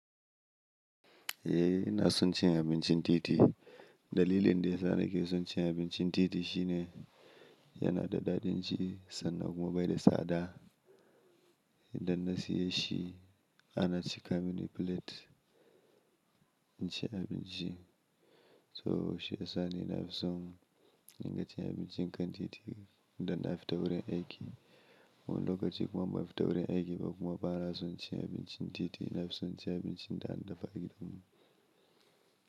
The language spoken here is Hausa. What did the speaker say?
Eh ina son cin abincin titi. Dalilin da yasa nake son cin abincin titi shine yana da daɗin ci sannan kuma bai da tsada. Idan na siye shi, ana cika mini plate in ci abinci. To shi ya sa ni na fi son in ga cin abincin kan titi idan na fita wurin aiki. Lokaci kuma ban fita wurin aiki ba kuma ba na son cin abincin titi, na fi son cin abincin da na dafa gidan mu.